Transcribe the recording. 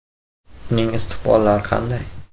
Uning istiqbollari qanday?